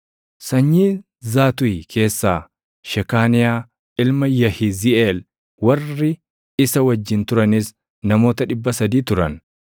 sanyii Zaatuʼi keessaa Shekaaniyaa ilma Yahiziiʼeel; warri isa wajjin turanis namoota 300 turan;